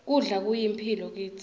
kudla kuyimphilo kitsi